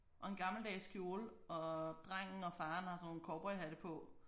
Og en gammeldags kjole og drengen og faren har sådan nogle cowboyhatte på